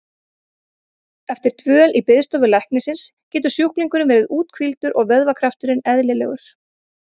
Eftir dvöl í biðstofu læknisins getur sjúklingurinn verið úthvíldur og vöðvakrafturinn eðlilegur.